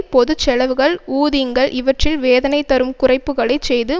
பொது செலவுகள் ஊதிங்கள் இவற்றில் வேதனைதரும் குறைப்புக்களை செய்து